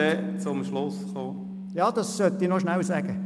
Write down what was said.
Das möchte ich aber noch schnell sagen.